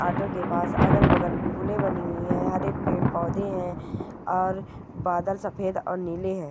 Auto के पास अगल बगल फुले बानि हुई हैं हरे पेड पौधे हैं और बदल सफेद और नीले हैं।